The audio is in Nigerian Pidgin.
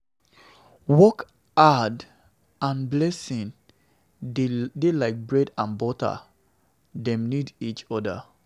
Hard work and blessing dey like bread and butter; dem need each oda.